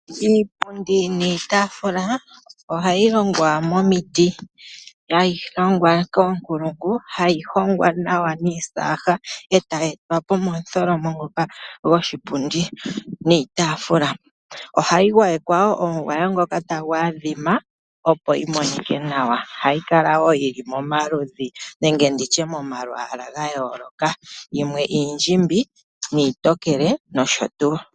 Iipundi niitaafula oha yi longwa momiti. Ha yi longwa koonkulungu, ha yi hongwa nawa niisaha e tayi etwa po motholomo ngoka goshipundi niitafula. Ohayi gwayekwa wo omugwawo ngoka ta gu adhima opo yi monike nawa. Ohayi kala wo yi li momaludhi nenge nditye mo mamalwaala ga yooloka. Yimwe iindjimbi niitokeke nosho tuu!